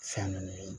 Fɛn ninnu ye